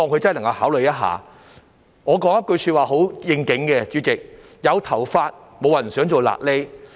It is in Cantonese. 主席，我想說一句很應景的話："有頭髮，沒有人想做瘌痢。